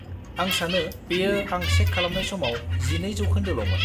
आं सानो बेयो आं चेक खालामनाय समाव 12% ल'मोन।